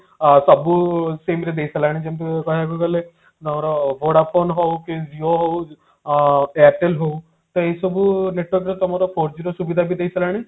ଅ ସବୁ sim ରେ ଦେଇ ସରିଲାଣି ଯେମତି କହବାକୁ ଗଲେ ଆମର Vodafone ହଉ କି Jio ହଉ ଅ airtel ହଉ ତ ଏଇ ସବୁ network ର ତମର four G ର ସୁବିଧା ବି ଦେଇ ସାରିଲାଣି